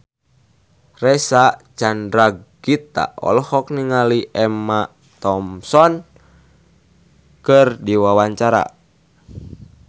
Reysa Chandragitta olohok ningali Emma Thompson keur diwawancara